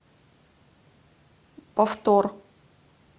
повтор